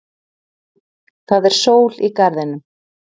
Það er sól í garðinum.